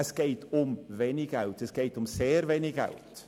Es geht um wenig Geld, sehr wenig Geld.